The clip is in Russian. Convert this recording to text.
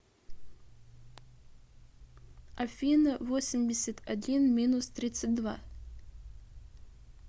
афина восемьдесят один минус тридцать два